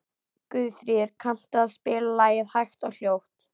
Guðfríður, kanntu að spila lagið „Hægt og hljótt“?